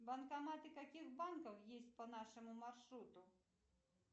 банкоматы каких банков есть по нашему маршруту